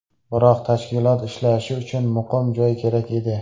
Biroq tashkilot ishlashi uchun muqim joy kerak edi.